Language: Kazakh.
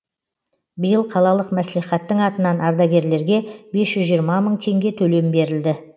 биыл қалалық мәслихаттың атынан ардагерлерге бес жүз жиырма мың теңге төлем берілді